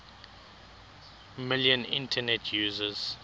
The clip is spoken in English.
million internet users